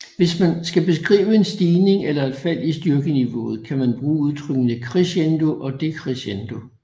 Hvis man skal beskrive en stigning eller et fald i styrkeniveauet kan man bruge udtrykkene crescendo og decrescendo